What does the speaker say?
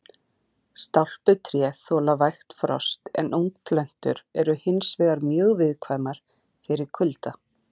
Stálpuð tré þola vægt frost en ungplöntur eru hins vegar mjög viðkvæmar fyrir kulda.